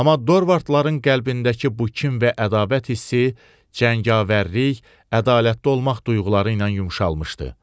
Amma dorvartların qəlbindəki bu kin və ədavət hissi cəngavərlik, ədalətli olmaq duyğuları ilə yumşalmışdı.